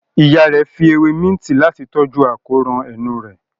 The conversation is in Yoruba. Ìyá rẹ fí ewe Minti Láti tọjú akóràn enú rẹ̀